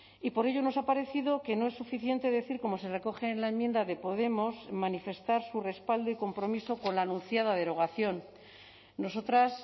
y por ello nos ha parecido que no es suficiente decir como se recoge en la enmienda de podemos manifestar su respaldo y compromiso con la anunciada derogación nosotras